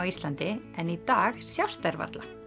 Íslandi en í dag sjást þær varla